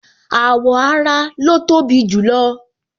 Awọ ara lo tobi jù lo